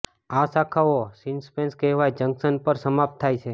આ શાખાઓ સિન્પેસસ કહેવાય જંકશન પર સમાપ્ત થાય છે